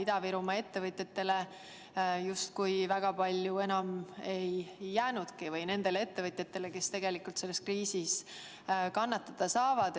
Ida-Virumaa ettevõtjatele justkui väga palju enam ei jäänudki ja ka muudele ettevõtjatele, kes tegelikult selles kriisis kannatada saavad.